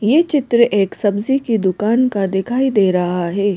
ये चित्र एक सब्जी की दुकान का दिखाई दे रहा है।